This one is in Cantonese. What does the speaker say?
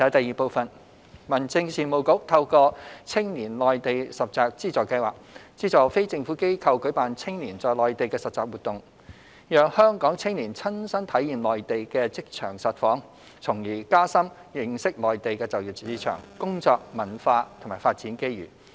二民政事務局透過青年內地實習資助計劃資助非政府機構舉辦青年在內地的實習活動，讓香港青年親身體驗內地的職場實況，從而加深認識內地的就業市場、工作文化和發展機遇。